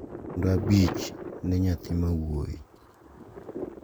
kendo abich ne nyathi ma wuoyi.